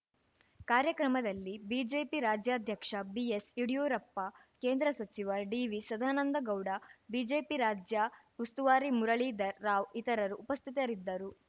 ಕಾರ್ಯಕ್ರಮದಲ್ಲಿ ಬಿಜೆಪಿ ರಾಜ್ಯಾಧ್ಯಕ್ಷ ಬಿಎಸ್‌ಯಡಿಯೂರಪ್ಪ ಕೇಂದ್ರ ಸಚಿವ ಡಿವಿಸದಾನಂದಗೌಡ ಬಿಜೆಪಿ ರಾಜ್ಯ ಉಸ್ತುವಾರಿ ಮುರಳೀಧರ್‌ ರಾವ್‌ ಇತರರು ಉಪಸ್ಥಿತರಿದ್ದರು